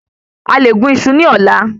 A lè gún iṣu ní ọ̀la